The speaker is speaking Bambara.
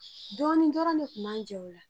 Dɔɔni dɔrɔn de Kun b'an jɛ o la.